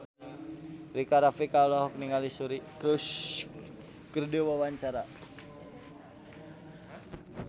Rika Rafika olohok ningali Suri Cruise keur diwawancara